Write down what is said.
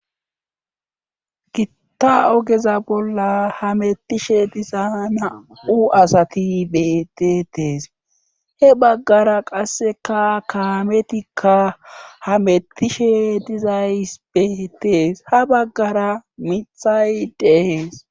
gitta ogeza bolla hamettishe diza na'u asati betetees he baggara qasseka kaametikka ha mettishe dizays betees ha baggara mithay de'ees